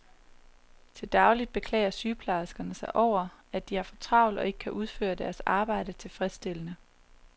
Til daglig beklager sygeplejerskerne sig over, at de har for travlt og ikke kan udføre deres arbejde tilfredsstillende.